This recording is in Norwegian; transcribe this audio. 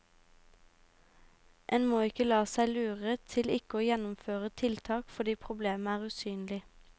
En må ikke la seg lure til ikke å gjennomføre tiltak fordi problemet er usynelig.